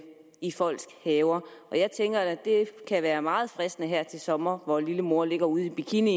i folks haver og jeg tænker da at det kan være meget fristende her til sommer hvor lillemor ligger ude i bikini